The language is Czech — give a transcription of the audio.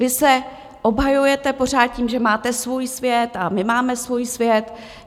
Vy se obhajujete pořád tím, že máte svůj svět a my máme svůj svět.